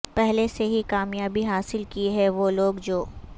پہلے سے ہی کامیابی حاصل کی ہے وہ لوگ جو